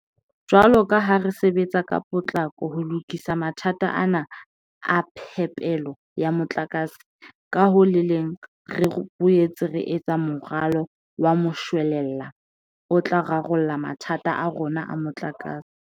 Jwalo ka ha re sebetsa ka potlako ho lokisa mathata ana a phepelo ya motlakase, ka ho le leng re boetse re etsa moralo wa moshwelella o tla rarolla mathata a rona a motlakase.